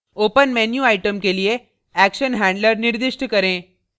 open menu item के लिए action handler निर्दिष्ट करें